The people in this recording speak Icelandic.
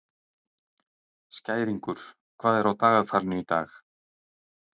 Skæringur, hvað er á dagatalinu í dag?